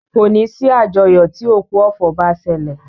Kòní sí àjọyọ̀ tí òkú ọ̀fọ̀ bá ṣẹlẹ̀.